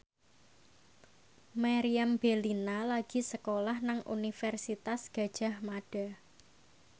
Meriam Bellina lagi sekolah nang Universitas Gadjah Mada